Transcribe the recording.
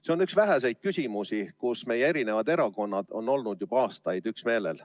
See on üks väheseid küsimusi, kus erinevad erakonnad on olnud juba aastaid üksmeelel.